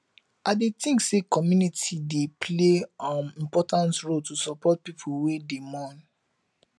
i dey think say community dey play um important role to support people wey dey mourn